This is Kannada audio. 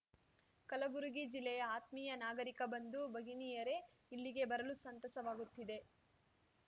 ಕಲಬುರಗಿ ಜಿಲ್ಲೆಯ ಆತ್ಮೀಯ ನಾಗರಿಕ ಬಂಧು ಭಗಿನಿಯರೇ ಇಲ್ಲಿಗೆ ಬರಲು ಸಂತಸವಾಗುತ್ತಿದೆ